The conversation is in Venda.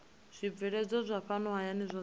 zwibveledzwa zwa fhano hayani zwohe